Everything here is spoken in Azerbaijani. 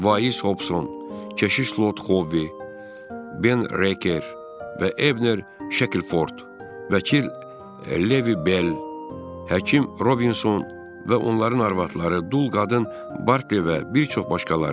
Vais Hobson, Keşiş Lot Xovi, Ben Reker və Ebner Şekilford, vəkil Levi Bel, həkim Robinson və onların arvadları, dul qadın Barle və bir çox başqaları.